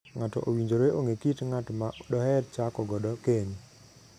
Ng'ato owinjore ong'ee kit ng'at ma doher chako godo keny.